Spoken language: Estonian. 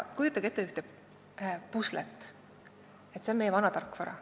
Kujutage ette ühte puslet, see on meie vana tarkvara.